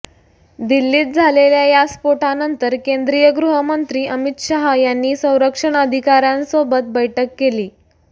दिल्लीत झालेल्या या स्फोटानंतर केंद्रीय गृह मंत्री अमित शाह यांनी संरक्षण अधिकाऱ्यांसो बैठक केली